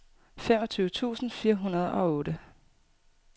femogtyve tusind fire hundrede og otte